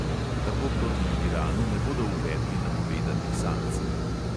Tako proti iranu ne bodo uvedli napovedanih sankcij.